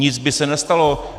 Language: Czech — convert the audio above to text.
Nic by se nestalo.